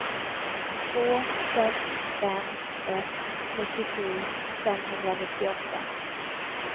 två sex fem ett nittiosju femhundranittioåtta